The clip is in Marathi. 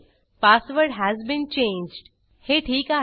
पासवर्ड हस बीन चेंज्ड हे ठीक आहे